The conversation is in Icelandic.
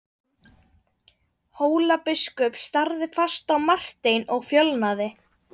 Hólabiskup starði fast á Martein og fölnaði.